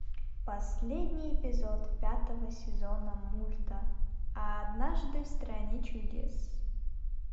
последний эпизод пятого сезона мульта однажды в стране чудес